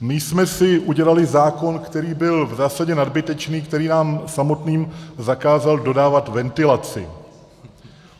My jsme si udělali zákon, který byl v zásadě nadbytečný, který nám samotným zakázal dodávat ventilaci.